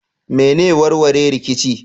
Me ne warware rikici?